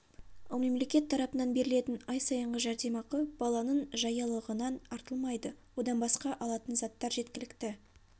ал мемлекет тарапынан берілетін ай сайынғы жәрдемақы баланың жаялығынан артылмайды одан басқа алатын заттар жеткілікті